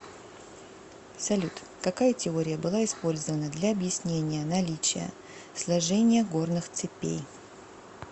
салют какая теория была использована для объяснения наличия сложения горных цепей